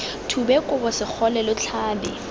thube kobo segole lo tlhabe